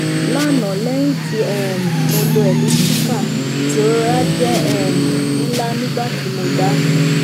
lana lẹyin ti um mo lò elliptical irora jẹ um nla nigbati mo dá